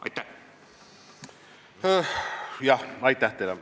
Aitäh teile!